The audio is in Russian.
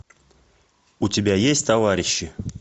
у тебя есть товарищи